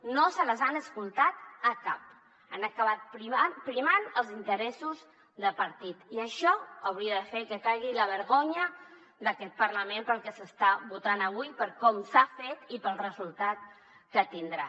no se les han escoltat a cap han acabat primant els interessos de partit i això hauria de fer que caigui la vergonya d’aquest parlament pel que s’està votant avui per com s’ha fet i pel resultat que tindrà